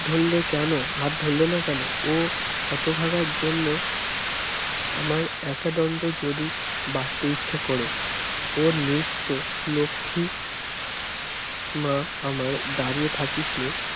ধরলে কেন হাত ধরলে না কেন ও হতভাগা জন্য আমার একাদণ্ড যদি বাঁচতে ইচ্ছা করে ওর নৃত্য লক্ষী মা আমার দাড়িয়ে থাকিস নে